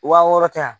Wa wɔɔrɔ tɛ yan